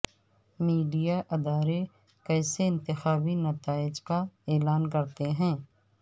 media ادارے کیسے انتخابی نتائج کا اعلان کرتے ہیں